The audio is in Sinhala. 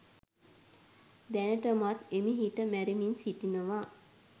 දැනටමත් හෙමිහිට මැරෙමින් සිටිනව.